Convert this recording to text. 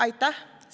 Aitäh!